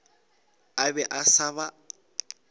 a be a sa ba